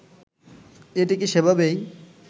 এটিকে সেভাবেই